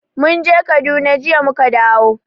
Mun je Kaduna, jiya mu ka dawo.